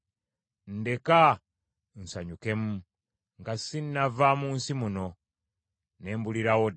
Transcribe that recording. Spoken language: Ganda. Ndeka nsanyukemu, nga sinnava mu nsi muno, ne mbulirawo ddala.